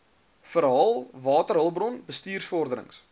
verhaal waterhulpbron bestuursvorderings